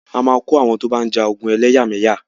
A máa kó àwọn tó bá ń ja ogun ẹlẹ́yàmẹyà.